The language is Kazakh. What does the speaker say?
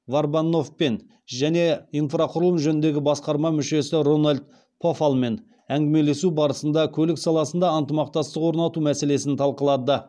варбаноффпен және инфрақұрылым жөніндегі басқарма мүшесі рональд пофаллмен әңгімелесу барысында көлік саласында ынтымақтастық орнату мәселесін талқылады